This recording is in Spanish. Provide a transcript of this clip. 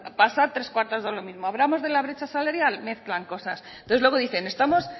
pasa tres cuartos de lo mismo hablamos de la brecha salarial mezclan cosas entonces luego dicen